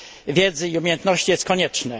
wiedzy i umiejętności jest konieczne.